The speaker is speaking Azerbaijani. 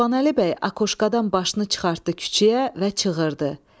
Qurbanəli bəy akoşkadan başını çıxartdı küçəyə və çığırdı.